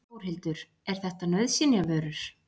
Þórhildur: Er þetta nauðsynjavörur?